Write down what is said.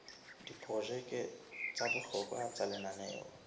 diprojeke tsa bohlokwa tsa lenaneo